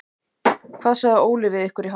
Hvað sagði Óli við ykkur í hálfleik?